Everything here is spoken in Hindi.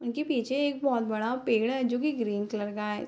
उनके पीछे एक बहुत बड़ा पेड़ है जो की ग्रीन कलर का है।